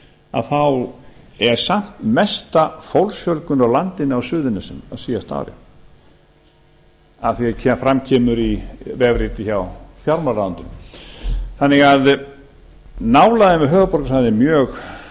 að þá er samt mesta fólksfjölgun á landinu á suðurnesjum á síðasta ári að því er fram kemur í vefriti hjá fjármálaráðuneytinu þannig að nálægðin við höfuðborgarsvæðið er mjög